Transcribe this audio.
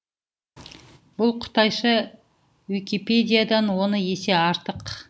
бұл қытайша уикипедиядан он есе артық